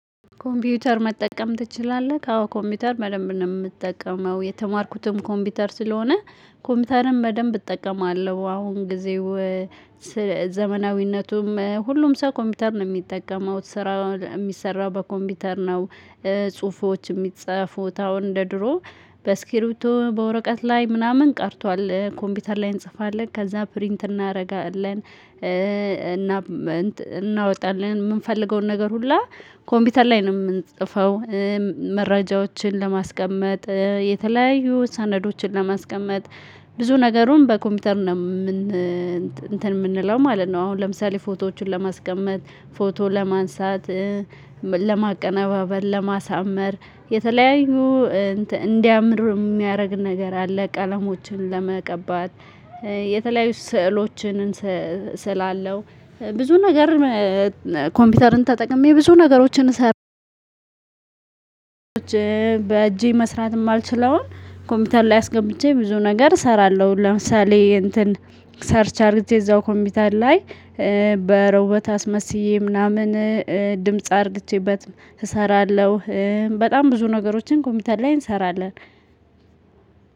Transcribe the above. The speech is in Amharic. ኮምፒውተር መጠቀም ትችላለህ አዎ ኮምፒውተር በደንብ ነው የምትጠቀመው የተማርኩትም ኮምፒውተር ስለሆነ ኮምፒውተርን በደንብ እጠቀማለሁ። አሁን ጊዜው ዘመናዊነቱም ሁሉም ሰው ኮምፒውተር ነው የሚጠቀመው ስራ የሚሰራው በኮምፒውተር ነው። ጽሁፎች የሚጽፉት አሁን እንደ ድሮ በእስክርቢቶ በወረቀት ላይ ምናምን ቀርቷል ኮምፒውተር ላይ እንጽፋለን ከዛ ፕሪንት እናደርጋለን። እና እናወጣለን የምንፈልገውን ነገር ሁላ ኮምፒውተር ላይ ነው የምንጽፈው። መረጃዎችን ለማስቀመጥ የተለያዩ ሰነዶችን ለማስቀመጥ ብዙ ነገሩን በኮምፒውተር እንትን የምንለው ማለት ነው። አሁን ለምሳሌ ፎቶዎችን ለማስቀመጥ ፎቶ ለማንሳት ለማቀነባበር ለማሳመር የተለያዩ እንዲያምር የሚያደርግ ነገር አለ። ቀለሞችን ለመቀባት የተለያዩ ስዕሎችን ስላለው ብዙ ነገር ኮምፒውተርን ተጠቅሜ ብዙ ነገሮችን እሰራለሁ። በእጄ መስራት የማልችለውን ኮምፒውተር ላይ አስገብቼ ብዙ ነገር እሰራለሁ። ለምሳሌ እንትን ሰርች አድርጊ እዛው ኮምፒውተር ላይ በሮቦት አስመስዬ ምናምን ድምጽ አድርጌበት እሰራለሁ። በጣም ብዙ ነገሮችን ኮምፒውተር ላይ እንሰራለን።